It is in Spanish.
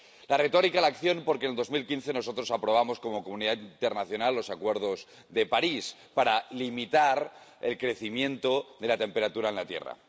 De la retórica a la acción, porque en 2015 nosotros aprobamos como comunidad internacional los Acuerdos de París para limitar el crecimiento de la temperatura en la Tierra.